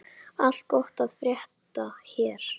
Allt gott að frétta hér.